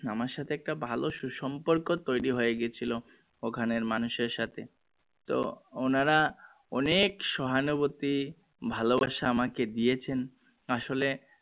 আমার সাথে একটা ভালো সু সম্পর্ক তৈরি হয়ে গেছিলো খানের মানুষের সাথে তো ওনারা অনেক সহানুভূতি ভালো বাসা আমাকে দিয়েছেন আসলে